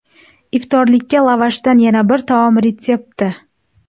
Iftorlikka lavashdan yana bir taom retsepti.